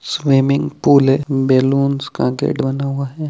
Swimming pool है balloons का gate बना हुआ है।